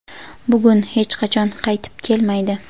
Bugun hech qachon qaytib kelmaydi.